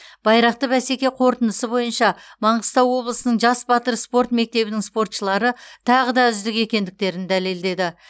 байрақты бәсеке қорытындысы бойынша маңғыстау облысының жас батыр спорт мектебінің спортшылары тағы да үздік екендіктерін дәлелдеді